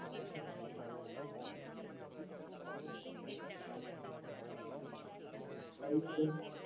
આવી બન્યું